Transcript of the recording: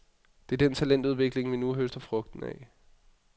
Det er den talentudvikling, vi nu høster frugten af.